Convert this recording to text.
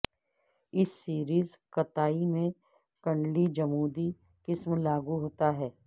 اس series کتائی میں کنڈلی جمودی قسم لاگو ہوتا ہے